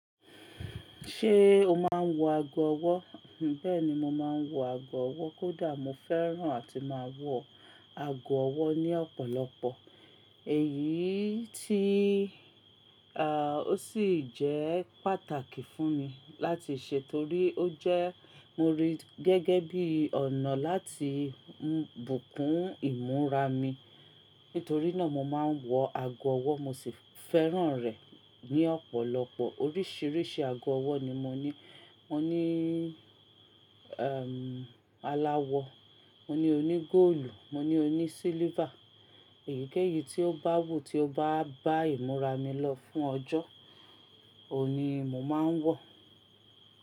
Ṣé o máa ń wọ ago ọwọ́? Bẹ́ẹ̀ni, mo máa ń wọ ago ọwọ́. Kódà mo fẹ́ràn àti máa wọ ago ọwọ́ ní ọ̀pọ̀lọpọ̀. Èyí tí, à, ó sì jẹ́ pàtàkì fún mi láti ṣe torí ó jẹ́ mo rí gẹ́gẹ́ bí ọ̀nà láti bùkún ìmúra mi. Nítorí náà mo máa ń wọ ago ọwọ́, mo sì fẹ́ràn rẹ̀ ní ọ̀pọ̀lọpọ̀. Oríṣiiríṣii ago ọwọ́ ni mo ní. Mo ní, ẹ́m, aláwọ̀, mo ní oní góòlù, mo ní oní sílívá. Èyí kéyìí tí ó bá wù tí ó bá bá ìmúra mi lọ fún ọjọ́ òun ní mo máa ń wọ.